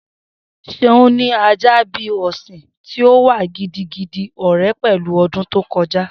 Seun ní a ajá bi a ọsin, ti o wà gidigidi ore pẹlu odun to koja.